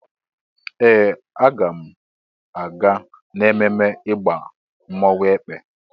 Ee! Aga m aga n'ememme ịgba mmọnwụ Èkpè.